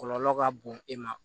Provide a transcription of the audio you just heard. Kɔlɔlɔ ka bon e ma